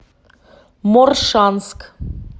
моршанск